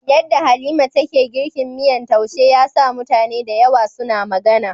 Yadda Halima take girkin miyan taushe ya sa mutane da yawa suna magana.